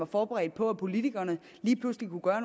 forberedt på at politikerne lige pludselig kunne gøre